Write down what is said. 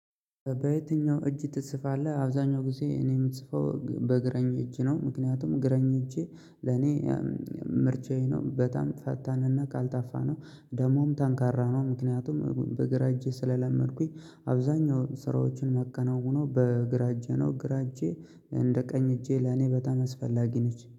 በየትኛው እጅ ትስፋለህ አብዛኛው ጊዜ እኔ የምትስፈው በግራኝ እጅ ነው። ምክንያቱም ግራኝ እጄ ለኔ ምርጫዬ ነው። በጣም ፈጣንና ቀልጣፋ ነው ደሞም ጠንካራ ነው። ምክንያቱም በግራ እጄ ስለለመድኩኝ አብዛኛው ስራዎችን ማከናውነው በግራ እጄ ነው። ግራ እጄ እንደ ቀኝ እጄ ለኔ በጣም አስፈላጊ ነች